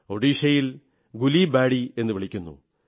ഒഡിശയിൽ ഗുലിബാഡി എന്നു പറയുന്നു